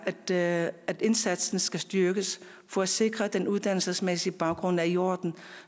det er at indsatsen skal styrkes for at sikre at den uddannelsesmæssige baggrund er i orden